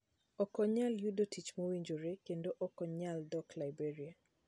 Ok onyal yudo tich mowinjore, kendo ok onyal dok Liberia